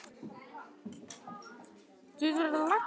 Við biðjum aðeins um hið örlagaríka lykilorð.